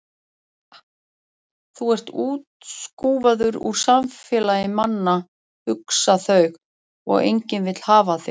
Þú ert útskúfaður úr samfélagi manna, hugsa þau, og enginn vill hafa þig.